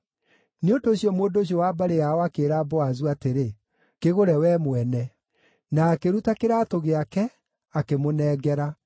Nĩ ũndũ ũcio mũndũ ũcio wa mbarĩ yao akĩĩra Boazu atĩrĩ, “Kĩgũre wee mwene.” Na akĩruta kĩraatũ gĩake, akĩmũnengera.